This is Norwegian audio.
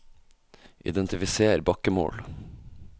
identifiser bakkemål